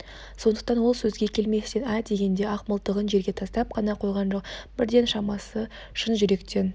сондықтан ол сөзге келместен ә дегенде ақ мылтығын жерге тастап қана қойған жоқ бірден шамасы шын жүректен